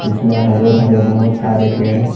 इसमें हरे भरे बहुत सारे पेड़ हैं।